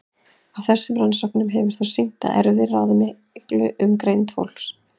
Af þessum rannsóknum hefur þótt sýnt að erfðir ráða allmiklu um greind fólks.